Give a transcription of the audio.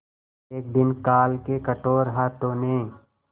एक दिन काल के कठोर हाथों ने